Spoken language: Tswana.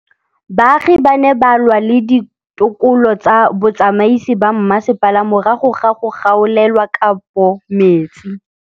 Baagi ba ne ba lwa le ditokolo tsa botsamaisi ba mmasepala morago ga go gaolelwa kabo metsi.